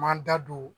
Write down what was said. Man da don